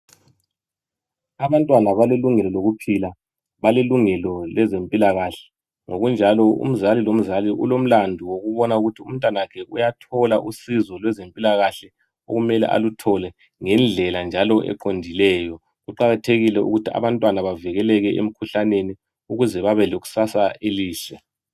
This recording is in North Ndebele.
Abantwana balelungelo lokuphila balelungelo lezempilakahle. Ngokunjalo umzali lomzali ulomlandu wokubona ukuthi umntwana wakhe uyathola usizo lweze mpilakahle okumele aluthole ngendlela njalo eqondileyo. Kuqakathekile ukuthi abantwana bavikeleke emikhuhlaneni ukuze babe lekusasa elihle.